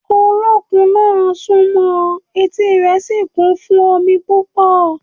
Olókun náà sún mọ́ ọn, etí rẹ̀ sì kún fún omi púpọ̀